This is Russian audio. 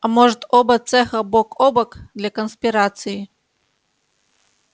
а может оба цеха бок о бок для конспирации